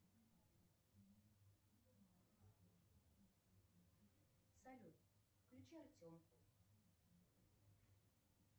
салют включи артемку